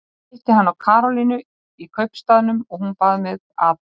Ég hitti hana Karolínu í kaupstaðnum og hún bað mig að.